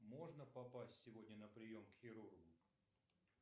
можно попасть сегодня на прием к хирургу